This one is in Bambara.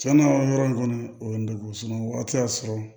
Tiɲɛna yɔrɔ in kɔni o ye n dɔgɔ y'a sɔrɔ